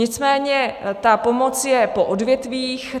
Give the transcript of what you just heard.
Nicméně ta pomoc je po odvětvích.